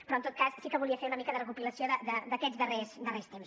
però en tot cas sí que volia fer una mica de recopilació d’aquests darrers temps